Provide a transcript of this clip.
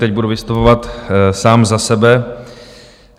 Teď budu vystupovat sám za sebe.